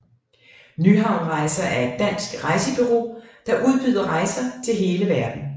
Nyhavn Rejser er et dansk rejsebureau der udbyder rejser til hele verden